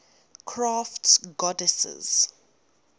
crafts goddesses